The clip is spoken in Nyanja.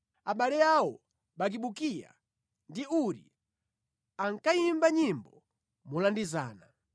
Abale awo, Bakibukiya ndi Uri, ankayimba nyimbo molandizana.